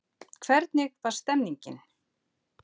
hvernig var stemningin?